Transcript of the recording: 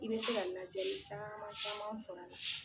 I bɛ se ka ladiyali caman caman sɔr'a la.